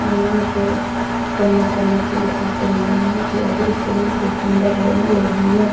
मन को कोमल करने के लिए आते होंगे। यहाँ के ये दृश्य बहुत ही सुंदर है। यहाँ लोग घूमने --